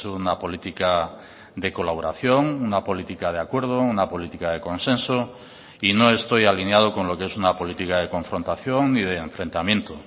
una política de colaboración una política de acuerdo una política de consenso y no estoy alineado con lo que es una política de confrontación ni de enfrentamiento